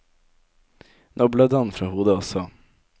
Nå blødde han fra hodet også.